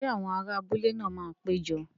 Ṣé àwọn ará abúlé náà máa pé jọ?